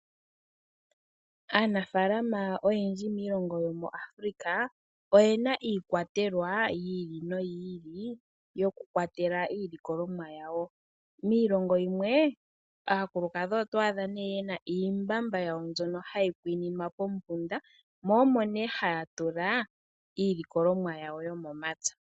Aanafaalama oyendji miilonga yomu Afrika oyena iikwatelwa yi ili noyiili yokukwatela iilikolomwa yawo. Miilongo yimwe aakulukadhi oto adha nee yena iimbamba wawo mbyono hayi kwiinimwa pombunda mo omo ne haya tula iilikolomwa yawo yomomapya.